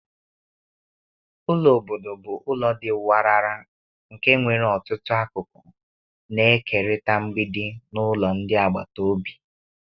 Ụlọ obodo bụ ụlọ dị warara nke nwere ọtụtụ akụkọ na-ekerịta mgbidi na ụlọ ndị agbata obi.